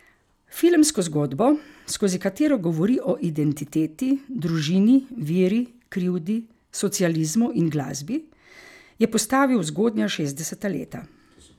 Filmsko zgodbo, skozi katero govori o identiteti, družini, veri, krivdi, socializmu in glasbi, je postavil v zgodnja šestdeseta leta.